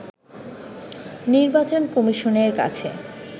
নির্বাচন কমিশনের কাছে